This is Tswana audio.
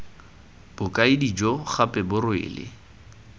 bokaedi jo gape bo rwele